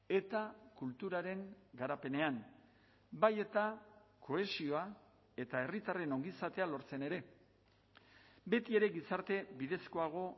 eta kulturaren garapenean bai eta kohesioa eta herritarren ongizatea lortzen ere betiere gizarte bidezkoago